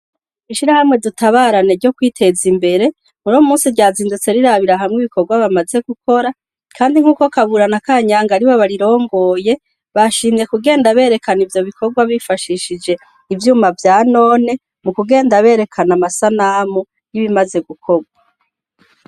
Ishirahamwe dutabarane ryo kwiteza imbere muri munsi ryazindutse rirabira hamwe ibikorwa bamaze gukora kandi nk'uko kabura na kanyanga aribo barirongoye bashimye kugenda berekana ivyo bikorwa bifashishije ivyuma vya none mu kugenda berekana amasanamu y'ibimaze gukorwa.